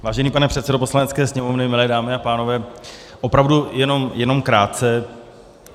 Vážený pane předsedo Poslanecké sněmovny, milé dámy a pánové, opravdu jenom krátce.